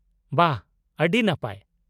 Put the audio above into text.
ᱵᱷᱟ, ᱟᱹᱰᱤ ᱱᱟᱯᱟᱭ !